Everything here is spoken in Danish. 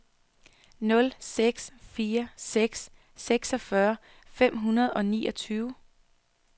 nul seks fire seks seksogfyrre fem hundrede og niogtyve